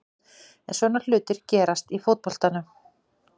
En svona hlutir gerast í fótboltanum.